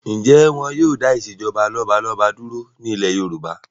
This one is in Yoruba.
Ǹjẹ́ wọn yìí ó dà ìsèjọba lọ́balọ́ba dúró ní ilé Yorùbá bí?